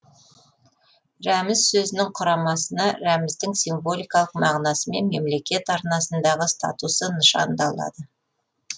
рәміз сөзінің құрамасына рәміздің символикалық мағынасы мен мемлкет арнасындағы статусы нышандалады